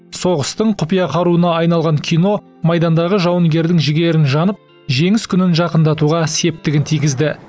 соғыстың құпия қаруына айналған кино майдандағы жауынгердің жігерін жанып жеңіс күнін жақындатуға септігін тигізді